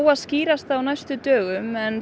að skýrast á næstu dögum en